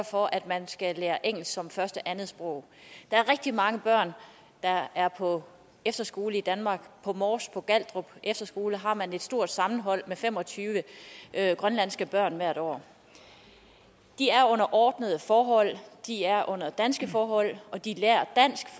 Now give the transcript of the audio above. for at man skal lære engelsk som første andetsprog der er rigtig mange børn der er på efterskole i danmark på mors på galtrup efterskole har man et stort hold med fem og tyve grønlandske børn hvert år de er under ordnede forhold de er under danske forhold og de lærer dansk